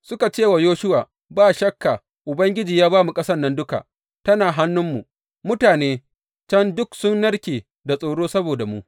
Suka ce wa Yoshuwa, Ba shakka Ubangiji ya ba mu ƙasan nan duka, tana hannunmu, mutane can duk sun narke da tsoro saboda mu.